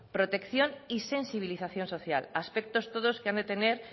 protección y sensibilización social aspectos todos que tienen que tener